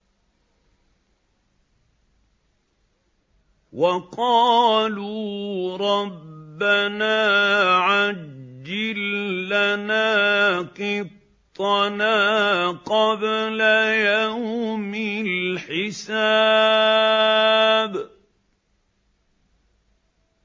وَقَالُوا رَبَّنَا عَجِّل لَّنَا قِطَّنَا قَبْلَ يَوْمِ الْحِسَابِ